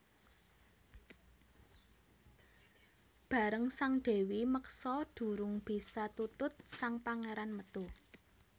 Bareng sang Dèwi meksa durung bisa tutut sang Pangéran metu